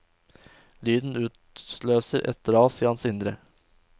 Lyden utløser et ras i hans indre.